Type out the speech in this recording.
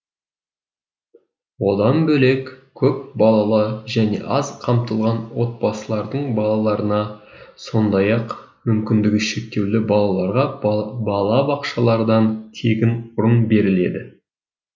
одан бөлек көпбалалы және аз қамтылған отбасылардың балаларына сондай ақ мүмкіндігі шектеулі балаларға балабақшалардан тегін орын беріледі